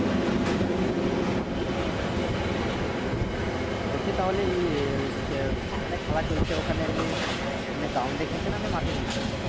বলছি তাহলে ইয়ে ওই খে যেখানে খেলা চলছে ওইখানে এমনি এমনি ground এ খেলছে নাকি ওই মাঠে খেলছো?